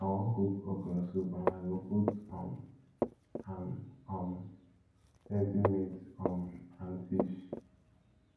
i wan cook okra soup and i go put um am um plenty meat um and fish